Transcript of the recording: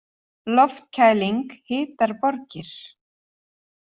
Loftkæling hitar borgir